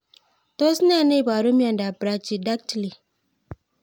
Tos nee neiparu miondop Brachydactyly